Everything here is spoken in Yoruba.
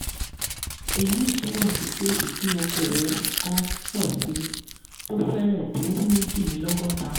èyí túmọ̀ sí pé ìpín okòwò kan pọ̀ síi tó fẹrẹ̀ tó méjìlélọ́gọ́ta.